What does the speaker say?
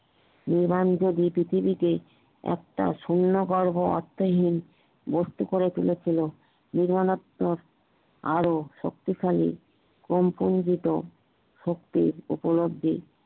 নির্বান্জ দুই পৃথিবীতে একটা শূন্য গর্ভ আত্ম হীন বস্তু করে তুলেছিল নির্মলতায় আর শক্তিশালী কোন কঞ্জিত শক্তির উপলব্ধি